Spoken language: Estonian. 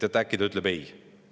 Äkki ta ütleb ei?